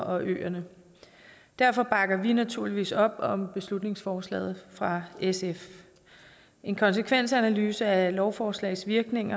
og øerne derfor bakker vi naturligvis op om beslutningsforslaget fra sf en konsekvensanalyse af lovforslags virkning